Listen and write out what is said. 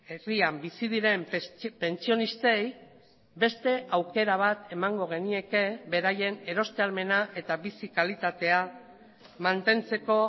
herrian bizi diren pentsionistei beste aukera bat emango genieke beraien eroste ahalmena eta bizi kalitatea mantentzeko